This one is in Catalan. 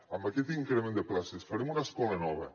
amb aquest increment de places farem una escola nova